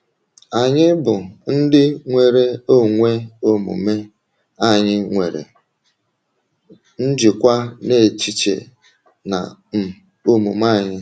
Anyị bụ ndị nwere onwe omume, anyị nwere njikwa n’echiche na um omume anyị.